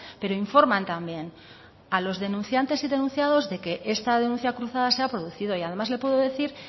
pero informan también a los denunciantes y denunciados de que esta denuncia cruzada se ha producido y además le puedo decir